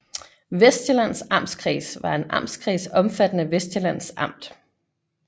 Vestsjællands Amtskreds var en amtskreds omfattende Vestsjællands Amt